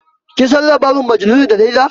Kin san labarin majanuni da laila?